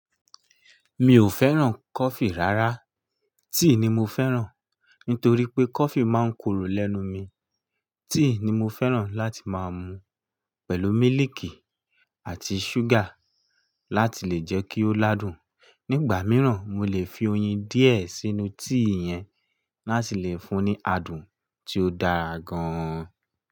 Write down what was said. Mi ò fẹ́ràn coffee rárá, tea ni mo fẹ́ràn. Nítorí pé coffee máa ń korò lẹ́nu mi. Tea ni mo fẹ́ràn láti máa mu pẹ̀lú mílìkì àti ṣúgà láti lè jẹ́ kí ó ládùn. Nígbà mìíràn, mo lè fi oyin díẹ̀ sínú tea yẹn láti lè fún ní adùn tí ó dára gan-an.